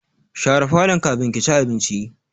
Share falon kafin ki ci abinci!